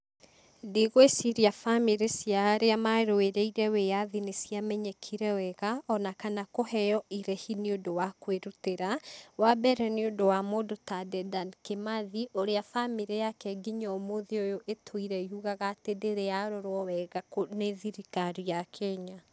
Ndigwĩciria bamĩrĩ cia arĩa marũĩrĩire wĩyathi nĩciamenyekire wega, ona kana kũheo irĩhi nĩũndũwa kwĩrutĩra, wa mbere nĩũndũ wa mũndũ ta Dedan Kimathi, ũrĩa bamĩrĩ yake nginya ũmũthĩ ũyũ ĩtũire yugaga atĩ ndĩrĩyarorwo wega nĩ thirikari ya Kenya.